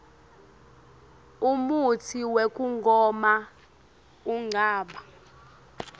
umutsi wekugoma ungaba